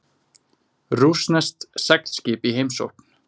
Rússneskt seglskip í heimsókn